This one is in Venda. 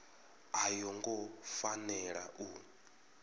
a yo ngo fanela u